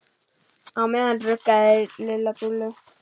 Á meðan ruggaði Lilla Dúllu.